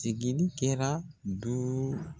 Sigili kɛra duuu